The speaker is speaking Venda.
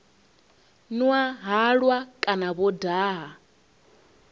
nwa halwa kana vho daha